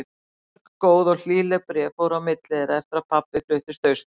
Mörg góð og hlýleg bréf fóru á milli þeirra eftir að pabbi fluttist austur.